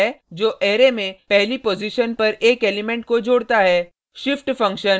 करके प्राप्त किया जा सकता है जो अरै में पहली पॉजिशन पर एक एलिमेंट को जोड़ता है